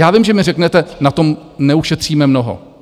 Já vím, že mi řeknete, na tom neušetříme mnoho.